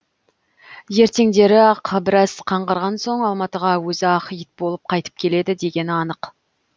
ертеңдері ақ біраз қаңғырған соң алматыға өзі ақ ит болып қайтып келеді дегені анық